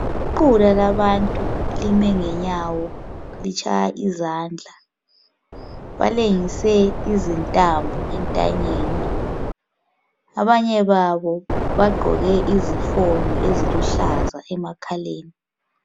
Iqula labantu lime ngenyawo litshaya izandla. Balengise izintambo entanyeni ,abanye babo bagqoke izifonyo eziluhlaza emakhaleni.